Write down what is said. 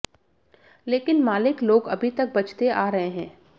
लेकिन मालिक लोग अभी तक बचते आ रहे हैं